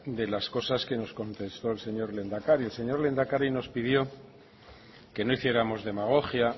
de las cosas que nos contestó el señor lehendakari el señor lehendakari nos pidió que no hiciéramos demagogia